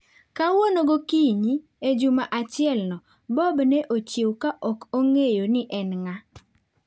Kawuono gokinyi, e juma achielno, Bob ne ochiewo ka ok ong'eyo ni en ng'a.